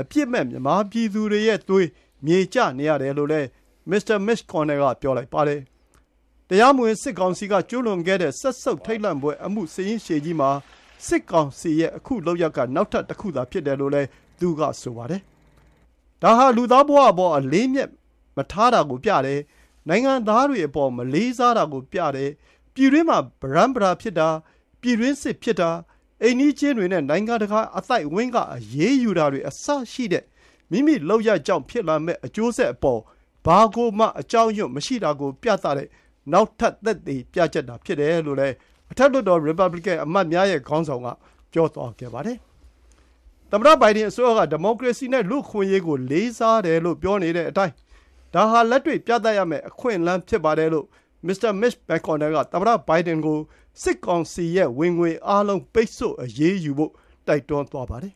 အပြစ်မဲ့ မြန်မာပြည်သူတွေရဲ့သွေးတွေ မြေကျနေရတယ်လို့လည်း မစ္စတာ Mitch McConnell က ပြောပါတယ်။ တရားဝင်မှုမရှိတဲ့ စစ်ကောင်စီက ကျူးလွန်ခဲ့တဲ့ စက်ဆုပ်ထိတ်လန့်ဖွယ် အမှုစာရင်းရှည်ကြီးမှာ စစ်ကောင်စီရဲ့ ခုလုပ်ရပ် က နောက်ထပ် တခုသာဖြစ်တယ်လို့လည်း သူကဆိုပါတယ်။ ဒါဟာ လူသားဘဝအပေါ် အလေးအမြတ်မထားတာကို ပြတယ်။ နိုင်ငံသားတွေအပေါ် မလေးစားတာကို ပြတယ်လို့လည်း ပြောပါတယ်။ ပြည်တွင်းမှာ ပရမ်းပတာဖြစ်တာ၊ ပြည်တွင်းစစ်ဖြစ်တာ၊ အိမ်နီးချင်းတွေနဲ့ နိုင်ငံတကာ အသိုက်အဝန်းက အရေးယူတာတွေ အစရှိတဲ့ မိမိလုပ်ရပ်ကြောင့် ဖြစ်လာမယ့် အကျိုးဆက်အပေါ် ဘာကိုမှ အကြောက်အရွံ့မရှိတာကိုပြသတဲ့ နောက်ထပ် သက်သေပြချက်သာဖြစ်တယ်လို့ အထက်လွှတ်တော် ရီပါဘလီကန် အမတ်များရဲ့ ခေါင်းဆောင်က ပြောသွားခဲ့ပါတယ်။ သမ္မတဘိုင်ဒန်အစိုးရက ဒီမိုကရေစီနဲ့ လူ့အခွင့်အရေးကို လေးစားတယ်လို့ ပြောနေပြီး ဒါဟာ လက်တွေ့ပြသဖို့ အခွင့်အလမ်းဖြစ်ပါတယ်လို့ မစ္စတာ Mitch McConnell က သမ္မတဘိုင်ဒန်ကို စစ်ကောင်စီရဲ့ ဝင်ငွေအားလုံး ပိတ်ဆို့အရေးယူဖို့ တိုက်တွန်းသွားပါတယ်